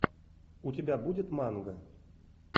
у тебя будет манга